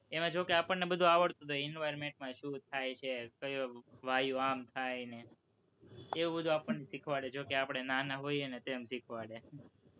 એમાં જોકે આપણને બધું આવડતું જ હોય કે environment માં શું થાય છે, ક્યો વાયુ આમ થાય ને એવું બધું આપણને શીખવાડે જોકે આપણે નાના હોય ને તેમ શીખવાડે